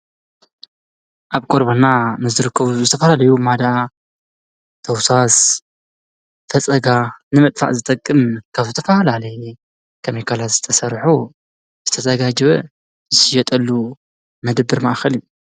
ኣብ ቆርቦትና ንዝርከቡ ንዝተፍላለዩ ማዳ፣ ተውሳስ፣ ፈፀጋ ንምጥፋእ ዝጠቅም ካብ ዝተፈላለዩ ኬሚካላት ዝተሰርሑ ዝተዘጋጀወ ዝሽየጠሉ መደብር ማእከል እዩ፡፡